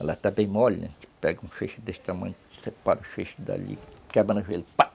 Ela está bem mole, a gente pega um feixe desse tamanho, separa o feixe dali, quebra no joelho, pá!